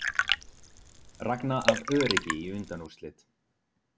Ragna af öryggi í undanúrslit